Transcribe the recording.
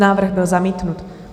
Návrh byl zamítnut.